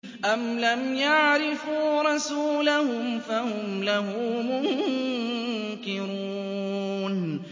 أَمْ لَمْ يَعْرِفُوا رَسُولَهُمْ فَهُمْ لَهُ مُنكِرُونَ